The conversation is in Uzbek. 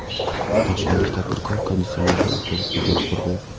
Toshkentlik tadbirkor konditsionerli avtobus bekati qurdi.